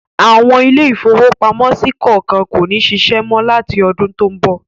Àwọn ilé-ìfowópamọ́sí kọ̀ọ̀kan kò ní ṣiṣẹ́ mọ́ láti ọdun tó ń bọ̀.